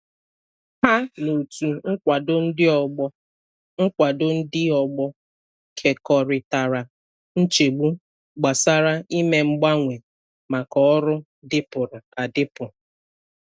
Ha na otu nkwado ndị ọgbọ nkwado ndị ọgbọ kekorịtara nchegbu gbasara ime mgbanwe maka ọrụ dịpụrụ adịpụ.